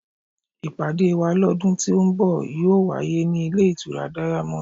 Ìpàdé wá lọ́dún tí ó ń bọ̀ yóò wáyé ní ilé ìtura diamond.